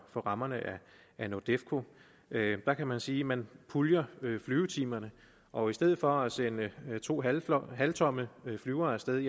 for rammerne af nordefco der kan man sige at man puljer flyvetimerne og i stedet for at sende to halvtomme halvtomme flyvere af sted